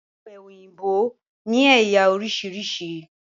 Ọ̀pẹ òyìnbó ni ẹ̀yà oríṣiríṣi